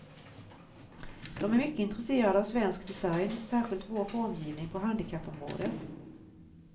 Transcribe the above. De är mycket intresserade av svensk design, särskilt vår formgivning på handikappområdet.